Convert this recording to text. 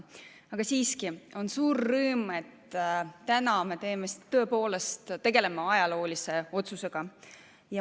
Aga siiski on suur rõõm, et täna me tegeleme tõepoolest ajaloolise otsusega.